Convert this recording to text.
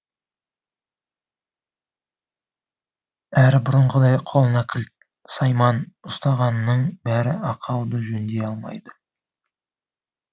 әрі бұрынғыдай қолына кілт сайман ұстағанның бәрі ақауды жөндей алмайды